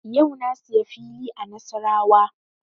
Yau na siya fili a Nasarawa